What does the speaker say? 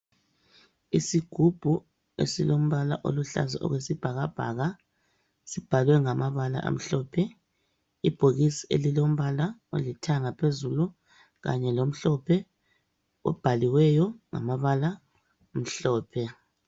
Isigubhu esilombala oluhlaza okwesibhakabhaka sibhalwe ngamabala amhlophe. Ibhokisi elilombala olithanga phezulu kanye lomhlophe obhaliweyo ngamabala amhlophe.